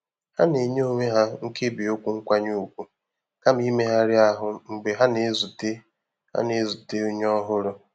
Ha na-enye onwe ha nkebi okwu nkwanye ùgwù kama imegharị ahụ́ mgbe ha na-ezute ha na-ezute onye ọhụrụ.